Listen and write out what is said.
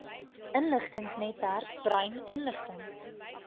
inligtingsnetwerk brain inligting